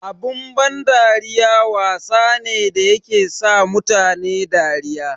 Abun ban dariya wasa ne da yake sa mutane dariya.